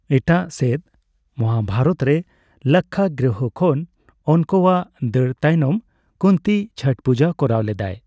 ᱮᱴᱟᱜ ᱥᱮᱫ, ᱢᱚᱦᱟᱵᱷᱟᱨᱚᱛᱨᱮ ᱞᱟᱠᱽᱠᱷᱟᱜᱨᱤᱦᱚ ᱠᱷᱚᱱ ᱚᱱᱠᱳᱣᱟᱜ ᱫᱟᱹᱲ ᱛᱟᱭᱱᱚᱢ ᱠᱩᱱᱛᱤ ᱪᱷᱚᱴ ᱯᱩᱡᱟᱹ ᱠᱚᱨᱟᱣ ᱞᱮᱫᱟᱭ ᱾